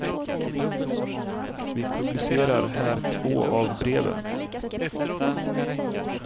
Vi publicerar här två av breven.